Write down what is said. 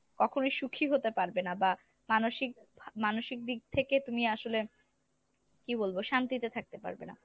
কখনো সুখী হতে পারবে না বা মানসিক মানসিক দিক থেকে তুমি আসলে কি বলবো শান্তিতে থাকতে পারবে না।